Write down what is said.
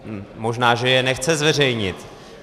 Možná že je nechce zveřejnit.